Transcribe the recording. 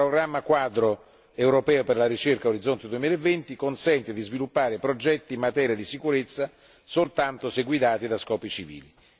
Il programma quadro europeo per la ricerca Orizzonte 2020 consente di sviluppare progetti in materia di sicurezza soltanto se guidati da scopi civili.